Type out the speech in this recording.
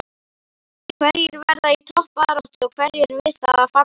Hverjir verða í toppbaráttu og hverjir við það að falla?